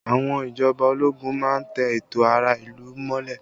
Àwọn ìjọba ológun má ń tẹ ẹ̀tọ́ ará ìlú mọ́lẹ̀